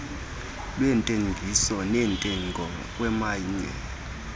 lweentengiso neentengo kwamanye